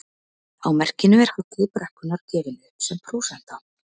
Á merkinu er halli brekkunnar gefinn upp sem prósenta.